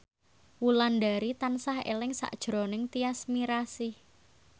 Wulandari tansah eling sakjroning Tyas Mirasih